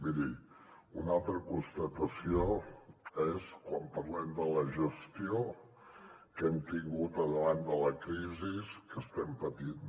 miri una altra constatació és quan parlem de la gestió que hem tingut davant de la crisi que estem patint